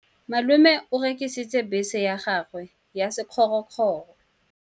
Malome o rekisitse bese ya gagwe ya sekgorokgoro.